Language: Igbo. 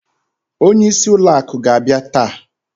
Onye isi ụlọ akụ ga abia taa.